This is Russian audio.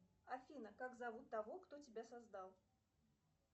афина как зовут того кто тебя создал